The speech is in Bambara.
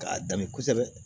K'a danni kosɛbɛ